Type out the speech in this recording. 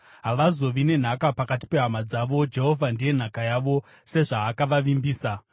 Havazovi nenhaka pakati pehama dzavo: Jehovha ndiye nhaka yavo sezvaakavavimbisa.